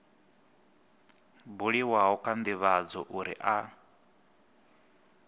buliwaho kha ndivhadzo uri a